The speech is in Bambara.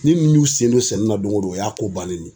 Ni nunnu y'u sen don sɛnɛ na don go don ,o y'a ko bannen ye.